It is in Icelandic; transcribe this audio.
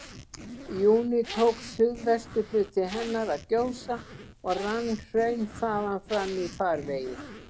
júní tók suðvesturhluti hennar að gjósa, og rann hraun þaðan fram í farvegi